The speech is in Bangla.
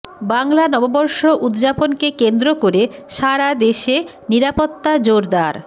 বাংলা নববর্ষ উদযাপনকে কেন্দ্র করে সারা দেশে নিরাপত্তা জোরদার